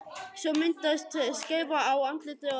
Svo myndaðist skeifa á andlitinu og augun fylltust tárum.